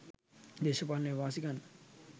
දේශපාලන වාසි ගන්න